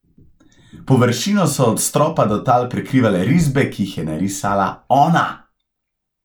Površino so od stropa do tal prekrivale risbe, ki jih je narisala ona!